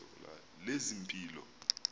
lezempilo